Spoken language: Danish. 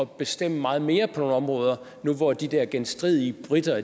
bestemme meget mere på nogle områder nu hvor de der genstridige briter